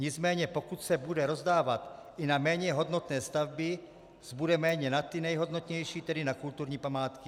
Nicméně pokud se bude rozdávat i na méně hodnotné stavby, zbude méně na ty nejhodnotnější, tedy na kulturní památky.